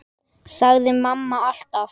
sagði mamma alltaf.